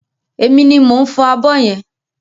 Emi ni mò ń fọ abọ́ yẹn.